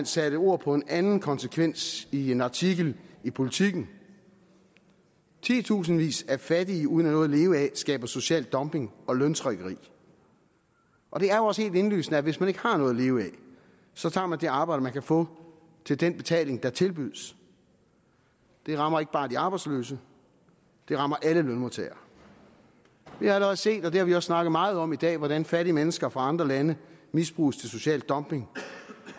satte ord på en anden konsekvens i en artikel i politiken titusindvis af fattige uden noget at leve af skaber social dumping og løntrykkeri og det er jo også helt indlysende at hvis man ikke har noget at leve af så tager man det arbejde man kan få til den betaling der tilbydes det rammer ikke bare de arbejdsløse det rammer alle lønmodtagere vi har allerede set og det har vi også snakket meget om i dag hvordan fattige mennesker fra andre lande misbruges til social dumping